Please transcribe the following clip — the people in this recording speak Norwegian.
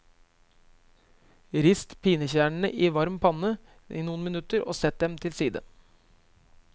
Rist pinjekjernene i varm panne noen minutter og sett dem til side.